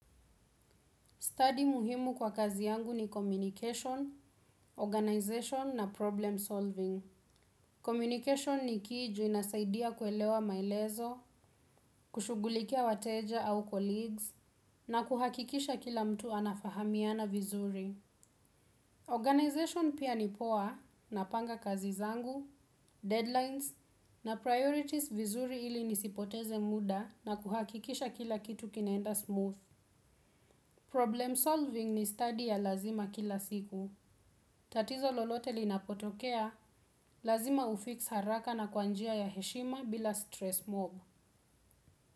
Study muhimu kwa kazi yangu ni communication, organization na problem solving. Communication ni kiju inasaidia kuelewa maelezo, kushugulikia wateja au colleagues, na kuhakikisha kila mtu anafahamiana vizuri. Organization pia nipoa napanga kazi zangu, deadlines, na priorities vizuri ili nisipoteze muda na kuhakikisha kila kitu kinaenda smooth. Problem solving ni study ya lazima kila siku. Tatizo lolote linapotokea, lazima ufix haraka na kwanjia ya heshima bila stress mob.